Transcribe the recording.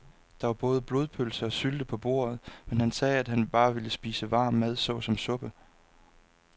Der var både blodpølse og sylte på bordet, men han sagde, at han bare ville spise varm mad såsom suppe.